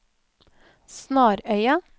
Snarøya